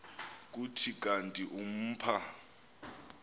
kuthi kanti umpha